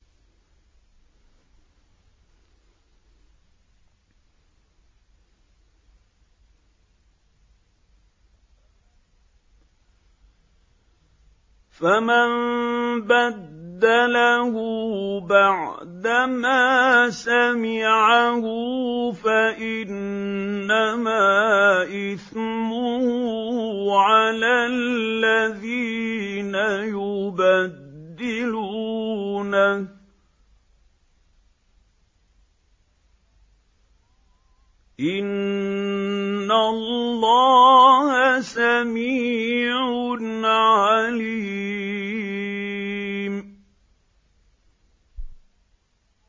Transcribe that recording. فَمَن بَدَّلَهُ بَعْدَمَا سَمِعَهُ فَإِنَّمَا إِثْمُهُ عَلَى الَّذِينَ يُبَدِّلُونَهُ ۚ إِنَّ اللَّهَ سَمِيعٌ عَلِيمٌ